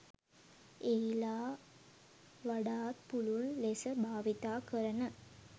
එහිලා වඩාත් පුළුල් ලෙස භාවිතා කරන